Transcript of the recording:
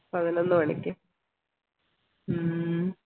പതിനൊന്ന് മണിക്ക് ഹും